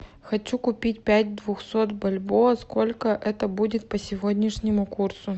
хочу купить пять двухсот бальбоа сколько это будет по сегодняшнему курсу